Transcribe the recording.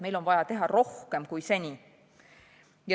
Meil on vaja teha rohkem, kui seni on tehtud.